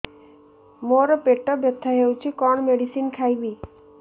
ମୋର ପେଟ ବ୍ୟଥା ହଉଚି କଣ ମେଡିସିନ ଖାଇବି